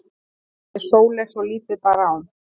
sagði Sóley svo lítið bar á.